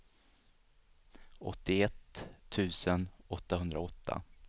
åttioett tusen åttahundraåtta